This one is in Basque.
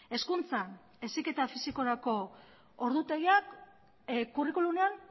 hezkuntzan heziketa fisikorako ordutegiak curriculumean